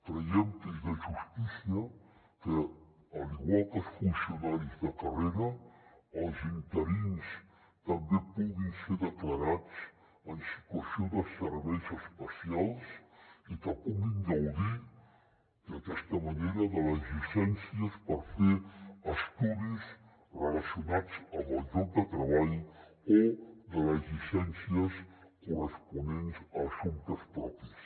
creiem que és de justícia que igual que els funcionaris de carrera els interins també puguin ser declarats en situació de serveis especials i que puguin gaudir d’aquesta manera de les llicències per fer estudis relacionats amb el lloc de treball o de les llicències corresponents a assumptes propis